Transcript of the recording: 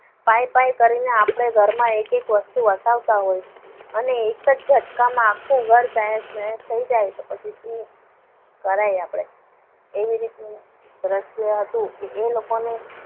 પાઈ પાઈ કરીને આપણે ઘરમાં એક એક વસ્તુ વસાવતા હોય. અને એક જ ઝટકામાં આખું ઘર તહેસ નયે થઈ જાય. તો પછી શું કરાય? આપણાથી એવી રીતનું દ્રશ્ય હતું કે એ લોકોને